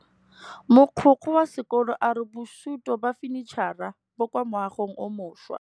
Mogokgo wa sekolo a re bosutô ba fanitšhara bo kwa moagong o mošwa.